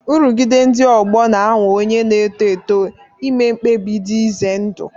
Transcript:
Nrụgide ndị ọgbọ na-anwa onye na-eto eto ime mkpebi dị ize ndụ.